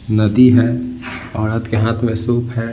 नदी है औरत के हाथ में सूप है।